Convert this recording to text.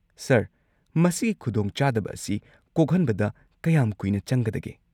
Sir, ꯃꯁꯤꯒꯤ ꯈꯨꯗꯣꯡꯆꯥꯗꯕ ꯑꯁꯤ ꯀꯣꯛꯍꯟꯕꯗ ꯀꯌꯥꯝ ꯀꯨꯏꯅ ꯆꯪꯒꯗꯒꯦ?